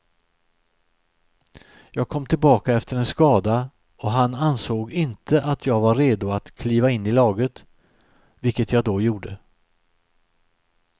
Jag kom tillbaka efter en skada och han ansåg inte att jag var redo att kliva in i laget, vilket jag då gjorde.